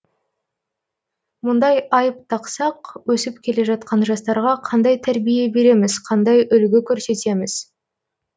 мұндай айып тақсақ өсіп келе жатқан жастарға қандай тәрбие береміз қандай үлгі көрсетеміз